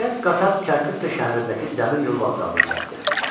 Nəhayət qatar Kərkük şəhərindəki dəmiryol vağzalına çatdı.